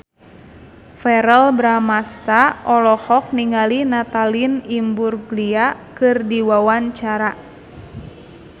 Verrell Bramastra olohok ningali Natalie Imbruglia keur diwawancara